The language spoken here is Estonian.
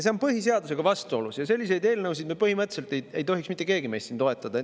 See on põhiseadusega vastuolus ja selliseid eelnõusid ei tohiks põhimõtteliselt mitte keegi meist siin toetada.